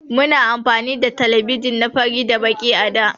Muna da telebijin na fari da Baki a da.